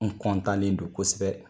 N kɔntanlen do kosɛbɛ.